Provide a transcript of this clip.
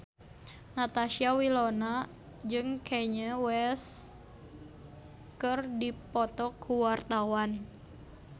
Natasha Wilona jeung Kanye West keur dipoto ku wartawan